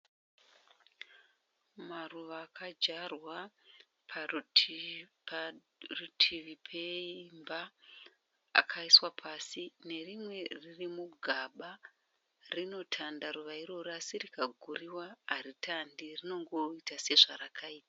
Maruva akadyarwa parutivi peimba akaiswa pasi nerimwe riri mugaba, rinotanda ruva irero asi rikagurirwa haritande rinongoita sezvarakaita.